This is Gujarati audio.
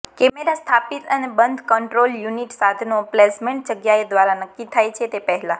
કેમેરા સ્થાપિત અને બંધ કંટ્રોલ યુનિટ સાધનો પ્લેસમેન્ટ જગ્યાએ દ્વારા નક્કી થાય છે તે પહેલાં